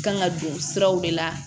Kan ka don siraw de la